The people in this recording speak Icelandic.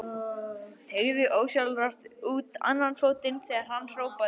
Teygði ósjálfrátt út annan fótinn þegar hann hrópaði.